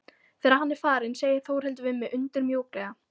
Þegar hann er farinn segir Þórhildur við mig undur mjúklega.